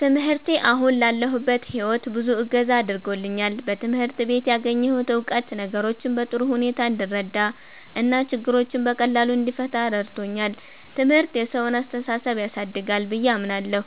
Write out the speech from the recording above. ትምህርቴ አሁን ላለሁበት ሕይወት ብዙ እገዛ አድርጎልኛል። በትምህርት ቤት ያገኘሁት እውቀት ነገሮችን በጥሩ ሁኔታ እንድረዳ እና ችግሮችን በቀላሉ እንድፈታ ረድቶኛል። ትምህርት የሰውን አስተሳሰብ ያሳድጋል ብዬ አምናለሁ።